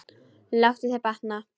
Láttu þér batna.